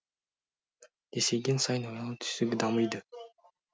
есейген сайын ойлау түйсігі дамиды